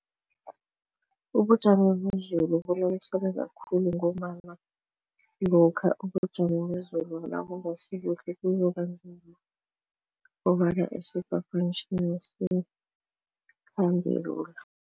Ubujamo bezulu khulu ngombana lokha ubujamo bezulu nabungasibuhle kuzobenza kobana isiphaphamtjhini lula.